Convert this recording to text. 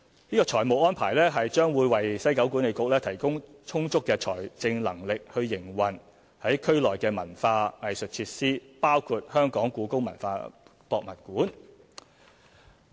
這個財務安排將會為西九管理局提供充足的財政能力營運區內文化藝術設施，包括故宮館。